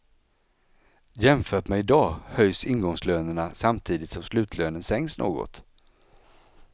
Jämfört med idag höjs ingångslönerna samtidigt som slutlönen sänks något.